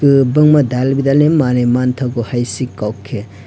kobangma dal bidal manui mangtago hai si kok ke.